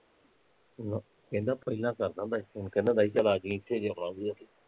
ਨਾ, ਕਹਿੰਦਾ ਪਹਿਲਾਂ ਕਰਦਾ ਹੁੰਦਾ ਸੀ phone ਕਹਿੰਦਾ ਹੁੰਦਾ ਸੀ ਚੱਲ ਆਜੀ ਏਥੇ ਜੇ ਆਉਣਾ ਹੋਉਗਾ ਤੇ